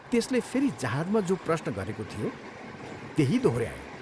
त्यसले फेरि जहाजमा जो प्रश्न गरेको थियो त्यही दोहोऱ्यायो।